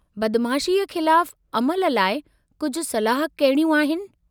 बदमाशीअ ख़िलाफ़ु अमल लाइ कुझु सलाह कहिड़ियूं आहिनि?